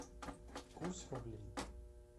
курс рублей